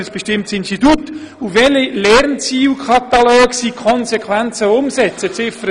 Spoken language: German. Und ebenso, der Uni in Ziffer 3 vorzuschreiben, welche Lernzielkataloge sie konsequent umsetzen soll.